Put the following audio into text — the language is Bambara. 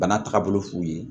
Bana tagabolo f'u ye